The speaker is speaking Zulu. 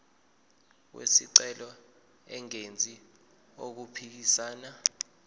wesicelo engenzi okuphikisana